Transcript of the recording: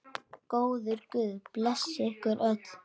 Góður guð blessi ykkur öll.